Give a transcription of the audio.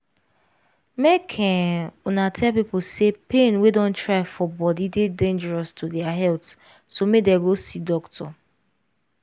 make um una tell pipo say pain wey don try for body dey dangerous to dia health so make them go see doctor